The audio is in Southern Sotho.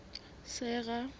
sera